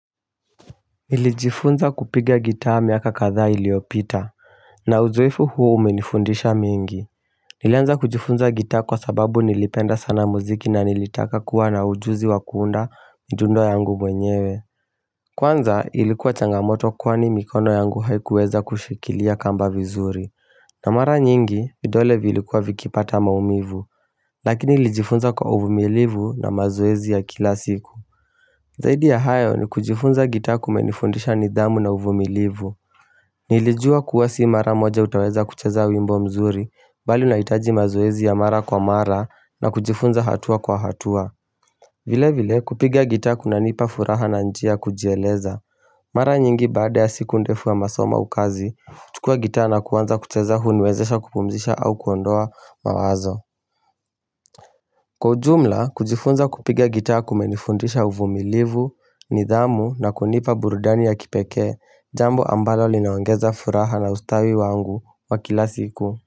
Nilijifunza kupiga gitaa miaka kadhaa iliyopita, na uzoefu huu umenifundisha mingi Nilianza kujifunza gitaa kwa sababu nilipenda sana muziki na nilitaka kuwa na ujuzi wa kuunda njundo yangu mwenyewe Kwanza ilikuwa changamoto kwani mikono yangu haikuweza kushikilia kamba vizuri na mara nyingi, vidole viilikuwa vikipata maumivu, lakini nilijifunza kwa uvumilivu na mazoezi ya kila siku Zaidi ya hayo ni kujifunza gitaa kumenifundisha nidhamu na uvumilivu Nilijua kuwa si mara moja utaweza kucheza wimbo mzuri. Bali unaitaji mazoezi ya mara kwa mara na kujifunza hatua kwa hatua vile vile kupiga gitaa kunanipa furaha na njia kujieleza Mara nyingi baada ya siku ndefu ya masoma ukazi uchukua gitaa nakuanza kucheza huniwezesha kupumzisha au kuondoa mawazo Kwa ujumla, kujifunza kupiga gitaa kumenifundisha uvumilivu, nidhamu na kunipa burudani ya kipeke, jambo ambalo limeongeza furaha na ustawi wangu wa kila siku.